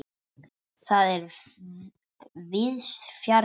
Það er víðs fjarri.